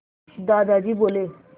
दादाजी बोले